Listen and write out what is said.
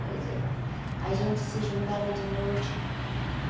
Pois é. A gente se juntava de noite.